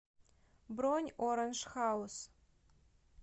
бронь оранж хаус